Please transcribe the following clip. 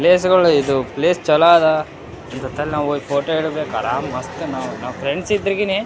ಪ್ಲೇಸಗಳು ಇದು ಪ್ಲೇಸ್ ಚಲೋ ಅದ ಜೊತೆಯಲ್ಲಿ ನಾವು ಫೋಟೋ ಹಿಡಿಬೇಕು ಆರಂ ಮಸ್ತ್ ನಾವು ಫ್ರೆಂಡ್ಸ್ ಎದ್ರಿಗೇನೇ --